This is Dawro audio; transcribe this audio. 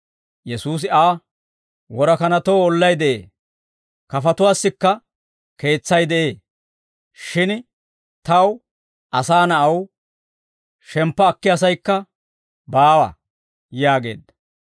Yesuusi Aa, «Worakanatoo ollay de'ee; kafatuwaassikka keetsay de'ee; shin Taw, Asaa Na'aw, shemppa akkiyaasaykka baawa» yaageedda.